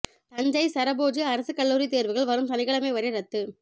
தஞ்சை சரபோஜி அரசுக் கல்லூரி தேர்வுகள் வரும் சனிக்கிழமை வரை ரத்து